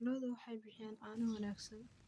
Lo'du waxay bixiyaan caano wanaagsan.